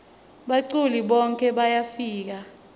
baculi bonkhe bayafika